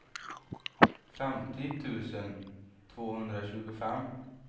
femtio tusen tvåhundratjugofem